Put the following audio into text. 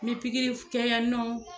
Ni pikiri kɛ yɛ nɔ